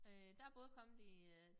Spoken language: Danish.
Øh der både kommet i øh